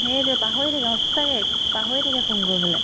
সেয়েতো পাহৰি থাকিলে সঁচ্চাকে পাহৰি থাকে ফোন কৰিবলে